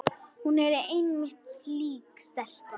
Hún er einmitt slík stelpa.